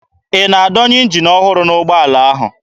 Ị na-adọnye njin ọhụrụ n'ụgbọala ahụ?